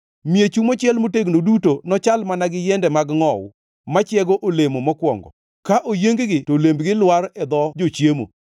Miechu mochiel motegno duto nochal mana gi yiende mag ngʼowu, machiego olemo mokwongo; ka oyieng-gi to olembgi lwar e dho jochiemo.